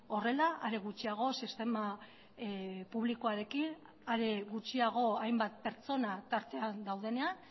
horrela are gutxiago sistema publikoarekin are gutxiago hainbat pertsona tartean daudenean